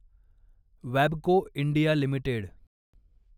वॅबको India limited